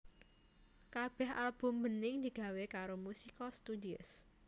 Kabéh album Bening digawé karo Musica Studios